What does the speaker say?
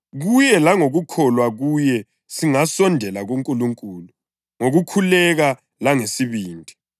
Kuye langokukholwa kuye singasondela kuNkulunkulu ngokukhululeka langesibindi.